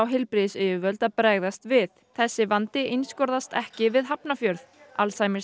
heilbrigðisyfirvöld að bregðast við þessi vandi einskorðast ekki við Hafnarfjörð